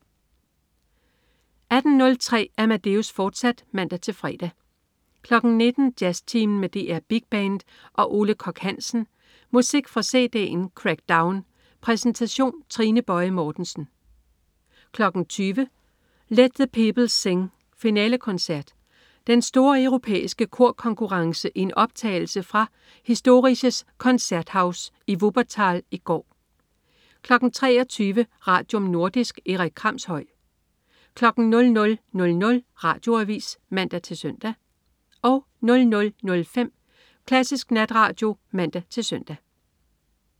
18.03 Amadeus, fortsat (man-fre) 19.00 Jazztimen med DR Big Band og Ole Kock Hansen. Musik fra cd'en "Crackdown". Præsentation: Trine Boje Mortensen 20.00 Let the Peoples Sing Finalekoncert. Den store europæiske korkonkurrence i en optagelse fra Historisches Konzerthaus i Wuppertal i går 23.00 Radium. Nordisk. Erik Kramshøj 00.00 Radioavis (man-søn) 00.05 Klassisk Natradio (man-søn)